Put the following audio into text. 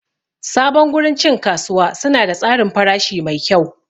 Sabon gurin cin kasuwa suna da tsarin farashi mai kyau.